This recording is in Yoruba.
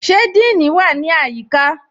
Ṣe Díìní wa ni ayíkà?